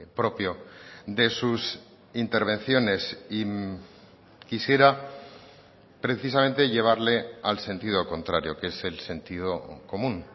propio de sus intervenciones y quisiera precisamente llevarle al sentido contrario que es el sentido común